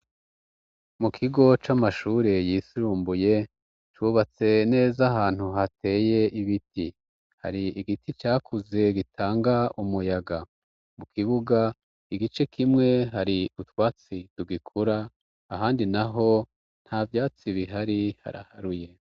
Mu kigo c'amashure yisumbuye, cubatse neza ahantu hateye ibiti ,har' igiti cakuze gitanga umuyaga ,mu kibuga igice kimwe hari utwatsi tugikura, ahandi naho nta vyatsi bihari haraharuye